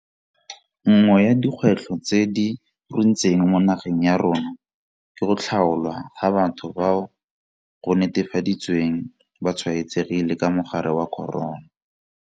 Nngwe ya dikgwetlho tse di runtseng mo nageng ya rona ke go tlhaolwa ga batho bao go netefaditsweng ba tshwaetsegile ka mogare wa corona.